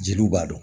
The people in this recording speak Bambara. Jeliw b'a dɔn